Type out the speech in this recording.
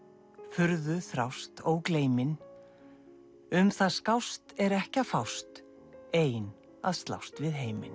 furðu þrást ógleymin um það skást er ekki að fást ein að slást við heiminn